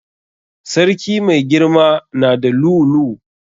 Sarki mai girama na da lu'u lu'u.